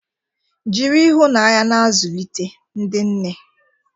Jiri ịhụnanya na-azụlite, ndị nne.